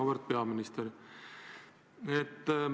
Auväärt peaminister!